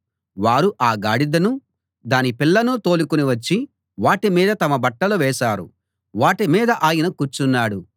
వారు ఆ గాడిదను దాని పిల్లను తోలుకుని వచ్చి వాటి మీద తమ బట్టలు వేశారు వాటిమీద ఆయన కూర్చున్నాడు